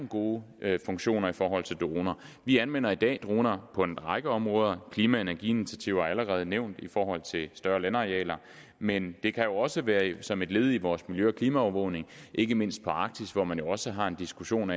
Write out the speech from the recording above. gode funktioner i forhold til droner vi anvender i dag droner på en række områder klima og energiinitiativer er allerede nævnt i forhold til større landarealer men det kan jo også være som et led i vores miljø og klimaovervågning ikke mindst på arktis hvor man jo også har en diskussion